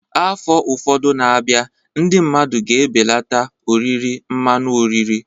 Afọ ụfọdụ na-abịa, ndị mmadụ ga-ebelata oriri mmanụ oriri